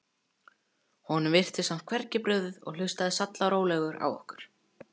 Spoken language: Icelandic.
Honum virtist samt hvergi brugðið og hlustaði sallarólegur á okkur.